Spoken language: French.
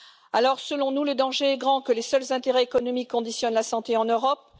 Alors, selon nous, le danger est grand que les seuls intérêts économiques conditionnent la santé en Europe.